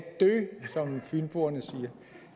dø som fynboerne siger